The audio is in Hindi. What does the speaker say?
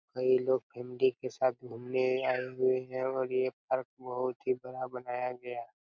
कोई लोग भिंडी के साथ घूमने आए हुए है और ये पार्क बहुत ही बड़ा बनाया गया--